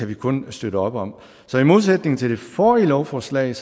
vi kun støtte op om så i modsætning til det forrige lovforslag